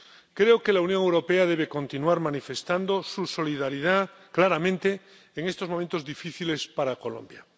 Creo que la Unión Europea debe continuar manifestando su solidaridad claramente en estos momentos difíciles para Colombia.